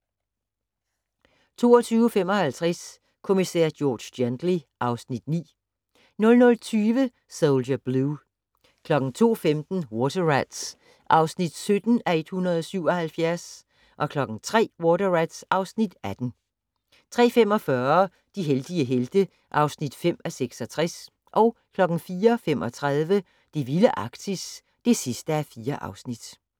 22:55: Kommissær George Gently (Afs. 9) 00:25: Soldier Blue 02:15: Water Rats (17:177) 03:00: Water Rats (18:177) 03:45: De heldige helte (5:66) 04:35: Det vilde Arktis (4:4)